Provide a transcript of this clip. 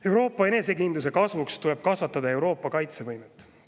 Euroopa enesekindluse kasvuks tuleb kasvatada Euroopa kaitsevõimet.